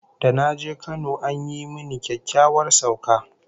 Da na je Kano an yi mini kyakkyawar sauka